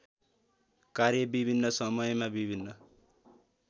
कार्य विभिन्न समयमा विभिन्न